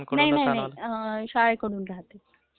नाही नाही शाळेकडून देतात